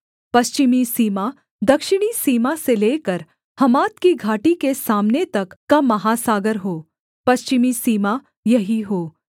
पश्चिमी सीमा दक्षिणी सीमा से लेकर हमात की घाटी के सामने तक का महासागर हो पश्चिमी सीमा यही हो